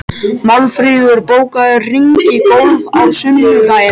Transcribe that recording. Málfríður, bókaðu hring í golf á sunnudaginn.